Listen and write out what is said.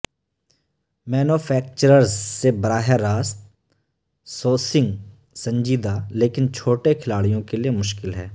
manufacturers سے براہ راست سوسسنگ سنجیدہ لیکن چھوٹے کھلاڑیوں کے لئے مشکل ہے